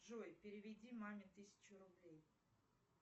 джой переведи маме тысячу рублей